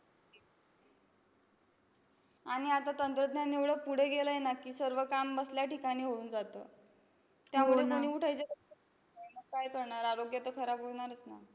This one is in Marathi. आणि आता तंत्रज्ञान एवढं पुढं गेलंय ना की, सर्व काम बसल्या ठिकाणी होऊन जातं. त्यामुळं कोणी उठायचं काय करणार? आरोग्य तर खराब होणारच ना?